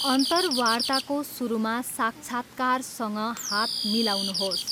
अन्तर्वार्ताको सुरुमा, साक्षात्कारकर्तासँग हात मिलाउनुहोस्।